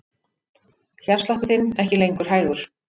Hjartsláttur þinn ekki lengur hægur.